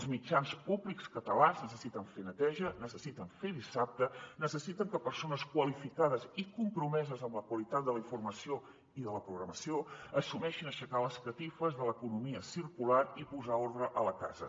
els mitjans públics catalans necessiten fer neteja necessiten fer dissabte necessiten que persones qualificades i compromeses amb la qualitat de la informació i de la programació assumeixin aixecar les catifes de l’economia circular i posar ordre a la casa